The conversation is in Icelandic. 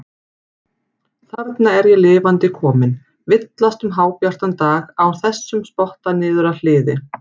Þarna er ég lifandi kominn, villast um hábjartan dag á þessum spotta niður að hliði.